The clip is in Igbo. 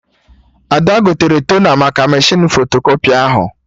Ada gotere tona maka mechinu fotokọpị ahụ